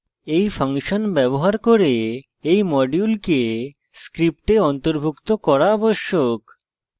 এই ফাংশন ব্যবহার করতে এই module script অন্তর্ভুক্ত করা আবশ্যক